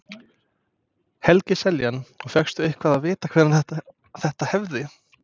Helgi Seljan: Og fékkstu eitthvað að vita hvenær þetta hefði?